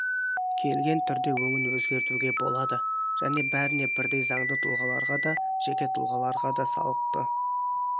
келген түрде өңін өзгертуге болады және бәріне бірдей заңды тұлғаларға да жеке тұлғаларға да салықты